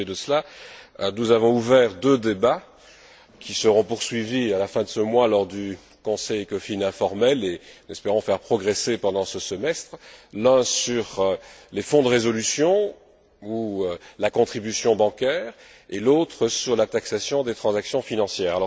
À côté de cela, nous avons ouvert deux débats, qui seront poursuivis à la fin de ce mois lors du Conseil Ecofin informel et que nous espérons faire progresser pendant ce semestre, l'un sur les fonds de résolution ou la contribution bancaire et l'autre sur la taxation des transactions financières.